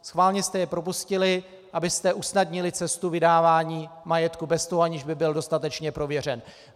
Schválně jste je propustili, abyste usnadnili cestu vydávání majetku bez toho, aniž by byl dostatečně prověřen.